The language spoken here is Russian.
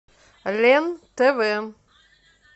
лен тв